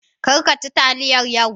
Kar ka ci taliyar yau.